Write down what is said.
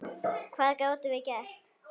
Hvað gátum við gert?